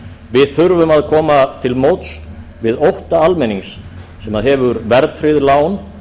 við þurfum að koma til móts við ótta almennings sem hefur verðtryggð lán